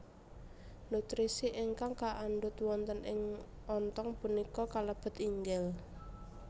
Nutrisi ingkang kaandhut wonten ing ontong punika kalebet inggil